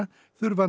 þurfi að